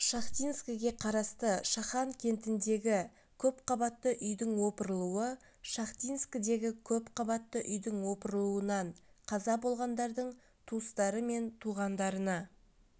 шахтинскіге қарасты шахан кентіндегі көпқабатты үйдің опырылуы шахтинскідегі көпқабатты үйдің опырылуынан қаза болғандардың туыстары мен туғандарына